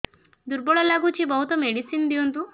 ଦୁର୍ବଳ ଲାଗୁଚି ବହୁତ ମେଡିସିନ ଦିଅନ୍ତୁ